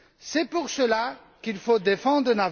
C'est pour cela qu'il faut défendre M.